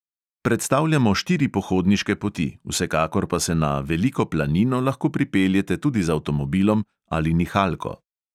Predstavljamo štiri pohodniške poti, vsekakor pa se na veliko planino lahko pripeljete tudi z avtomobilom ali nihalko.